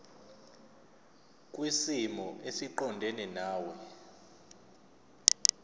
kwisimo esiqondena nawe